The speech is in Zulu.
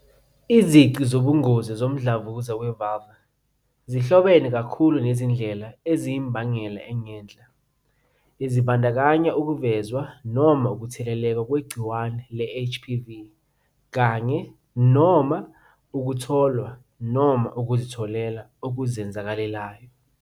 Izici zobungozi zomdlavuza we-vulvar zihlobene kakhulu nezindlela eziyimbangela engenhla, ezibandakanya ukuvezwa noma ukutheleleka ngegciwane le-HPV kanye-noma ukutholwa noma ukuzitholela okuzenzakalelayo okuzenzakalelayo.